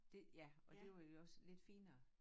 Det ja og det var jo også lidt finere